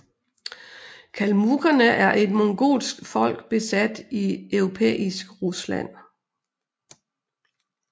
Kalmukkerne er et mongolsk folk bosat i europæisk Rusland